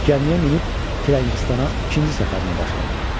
Cəmiyə minib Firəngistana ikinci səfərimə başladım.